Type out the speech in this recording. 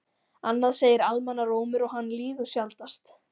Annað segir almannarómur og hann lýgur sjaldnast.